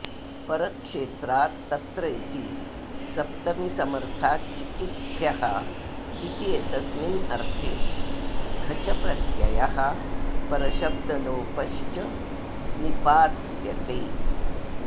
परक्षेत्राद् तत्र इति सप्तमीसमर्थात् चिकित्स्यः इत्येतस्मिन्नर्थे घच् प्रत्ययः परशब्दलोपश्च निपात्यते